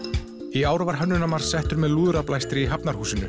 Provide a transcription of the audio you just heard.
í ár var Hönnunarmars settur með lúðrablæstri í Hafnarhúsinu